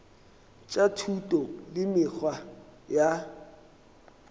tša thuto le mekgwa ya